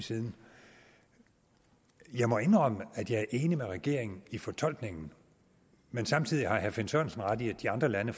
siden jeg må indrømme at jeg er enig med regeringen i fortolkningen men samtidig har herre finn sørensen ret i at de andre lande